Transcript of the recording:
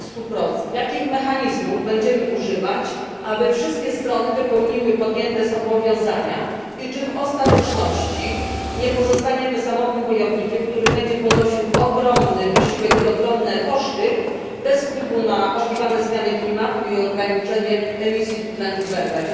30? Jakich mechanizmów będziemy używać, aby wszystkie strony wypełniły podjęte zobowiązania i czy w ostateczności nie pozostaniemy samotnym wojownikiem, który będzie ponosił ogromny wysiłek i ogromne koszty bez wpływu na zmiany klimatu i ograniczenie emisji tlenku węgla?